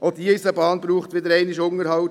Auch die Eisenbahn braucht einen Unterhalt.